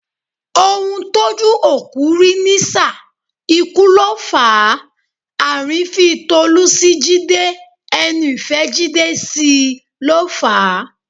Ohun tójú òkú rí nísà, ikú ló fàá; àrífín Tolú sí Jídé, ẹnu ìfẹ́ Jídé sí i ló fà á.